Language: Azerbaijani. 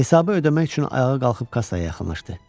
Hesabı ödəmək üçün ayağa qalxıb kassaya yaxınlaşdı.